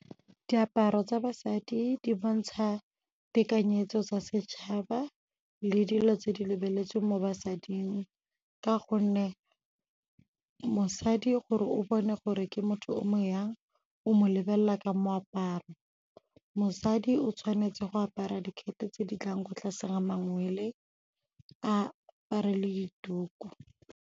Diaparo tsa basadi di bontsha tekanyetso tsa setšhaba le dilo tse di lebeletsweng mo basading ka gonne mosadi gore o bone gore ke motho o mo jang, o mo lebelela ka moaparo. Mosadi o tshwanetse go apara dikete tse di tlang go tlase ga mangwele, a apare le dituku.